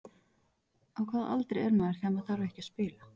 Á hvaða aldri er maður þegar maður þarf ekki að spila?